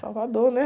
Salvador, né?